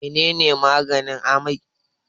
menene maganin amai?